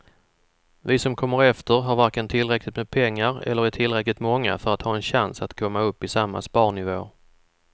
Vi som kommer efter har varken tillräckligt med pengar eller är tillräckligt många för att ha en chans att komma upp i samma sparnivåer.